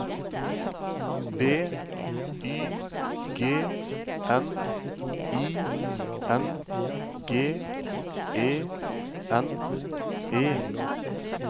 B Y G N I N G E N E